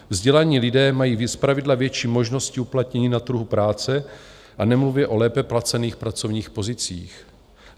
Vzdělaní lidé mají zpravidla větší možnosti uplatnění na trhu práce a nemluvě o lépe placených pracovních pozicích.